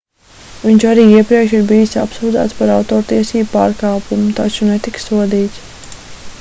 viņš arī iepriekš ir bijis apsūdzēts par autortiesību pārkāpumu taču netika sodīts